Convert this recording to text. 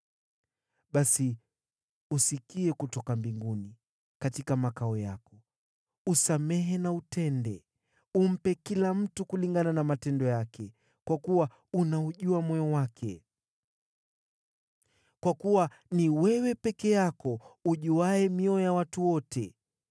basi usikie kutoka mbinguni, katika makao yako. Usamehe na utende, umpe kila mtu kulingana na matendo yake, kwa kuwa unaujua moyo wake (kwa kuwa ni wewe peke yako ujuaye mioyo ya watu wote),